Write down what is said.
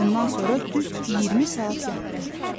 Bundan sonra düz 20 saat yatdı.